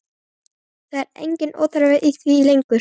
Það er enginn óþarfi í því lengur!